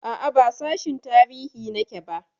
A'a, ba sashin tarihi nake ba.